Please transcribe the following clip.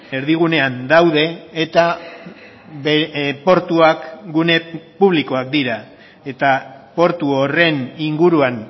erdigunean daude eta portuak gune publikoak dira eta portu horren inguruan